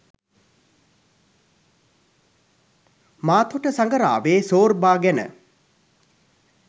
මාතොට සඟරාවේ සෝර්බා ගැන